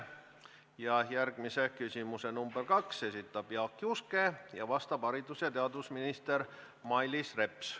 Ja järgmise küsimuse, number kaks, esitab Jaak Juske, vastab haridus- ja teadusminister Mailis Reps.